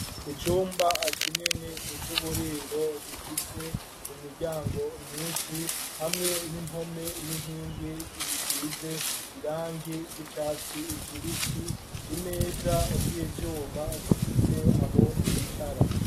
Icumba kinini, c'uburiro, gifise imiryango myinshi, hamwe n'impome, n'inkingi, bisize irangi ry'icatsi kibisi; imeza z'ivyuma, zifise aho bicara.